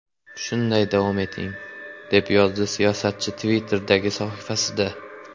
Shunday davom eting!”, deb yozdi siyosatchi Twitter’dagi sahifasida.